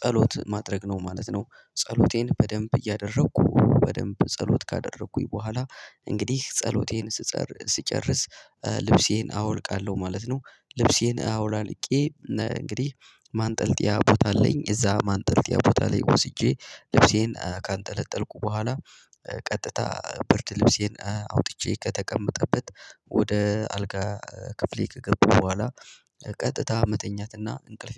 ጸሎት ማድረግ ነው ማለት ነው። ጸሎቴን በደንብ እያደረኩ በደንብ ጸሎት ካደረኩኝ በኋላ እንግዲህ ጸሎቴን ስጸር ስጨርስ ልብሴን አወልቃለሁ ማለት ነው። ልብሴን አውላልቄ እንግዲህ ማንጠልጥያ ቦታ አለኝ እዛ ማንጠልጥያ ቦታ ላይ ወስጄ ልብሴን ካንጠለጠልኩ በኋላ ቀጥታ ብርድ ልብሴን አውጥቼ ከተቀመጠበት ወደ አልጋ ክፍሌ ከገባው በኋላ ቀጥታ መተኛትና እንቅልፍ